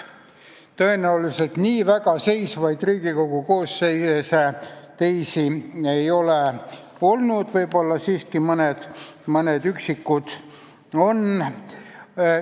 Tõenäoliselt nii väga seisvaid Riigikogu koosseise teisi ei ole olnud – kui, siis võib-olla mõned üksikud siiski on.